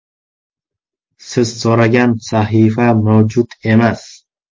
Siz so‘ragan sahifa mavjud emas.